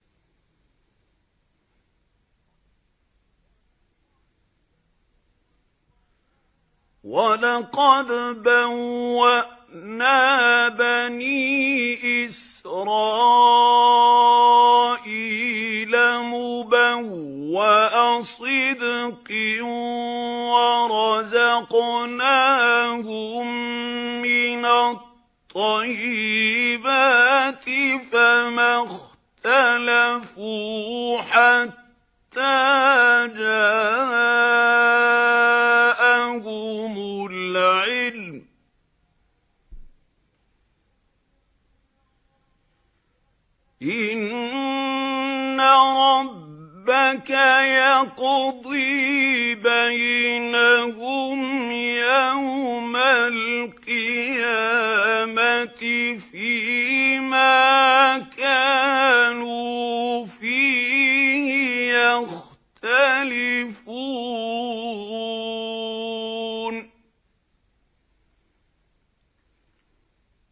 وَلَقَدْ بَوَّأْنَا بَنِي إِسْرَائِيلَ مُبَوَّأَ صِدْقٍ وَرَزَقْنَاهُم مِّنَ الطَّيِّبَاتِ فَمَا اخْتَلَفُوا حَتَّىٰ جَاءَهُمُ الْعِلْمُ ۚ إِنَّ رَبَّكَ يَقْضِي بَيْنَهُمْ يَوْمَ الْقِيَامَةِ فِيمَا كَانُوا فِيهِ يَخْتَلِفُونَ